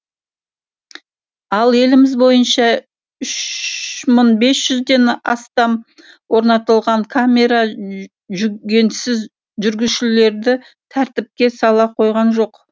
ал еліміз бойынша үш мың бес жүздбен астам орнатылған камера жүгенсіз жүргізушілерді тәртіпке сала қойған жоқ